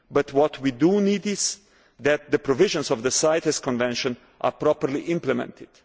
What we do need is that the provisions of the CITES Convention are properly implemented.